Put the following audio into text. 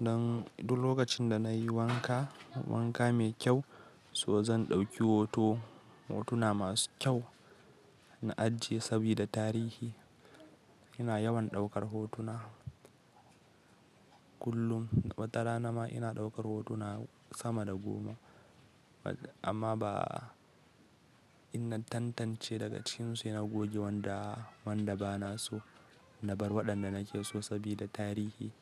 dan duk lokacin da nayi wanka, wanka mai kyau, so zan ɗauki hoto. Hotuna masu kyau, na ajiye sabida tarihi. Ina yawan ɗaukar hotuna. Kullum, wata rana ma ina ɗaukar hotuna sama da goma. Amma ba, in na tantance daga cikin su ina goge wanda, wanda ba na so, na bar waɗanda nake so sabida tarihi.